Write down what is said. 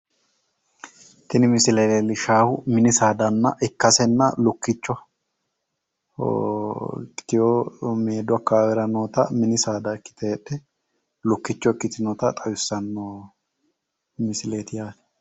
Tini misile leellishshaahu mini saada ikkasenna lukkicho ikkitiwo maadu akkawaawera noota mini saada ikkite heedhe lukkicho ikkitinota xawissanno misileeti yaate.